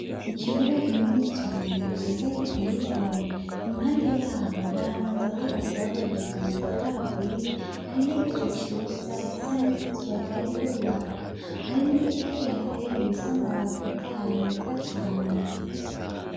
Ikibuga kinini cane ciza giteye igomwe .Impande yaho haramaza hubatse bakoresheje amatafari aturiye hari n'igicu ciza gisanez' izuba ryari kori iraka hari n'igiti ki hateye gifise amababi atotahaye meza cane.